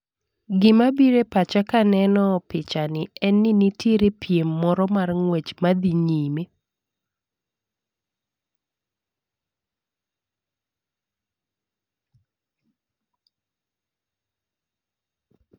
Gima bire pacha kaneno picha ni en ni nitiere piem moro mar ng'wech madhi nyime